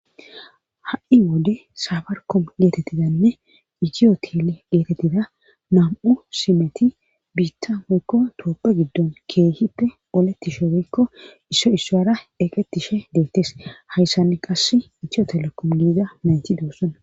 ha7i wode sabarkom geetettidanne itiyo kele geetettida nam7u simeti biitta moykko tooppe giddon keehippe oletti shofeykko isso issoara eqetishe deettes hayssanni qass itiyo telekom giiza nayti doossana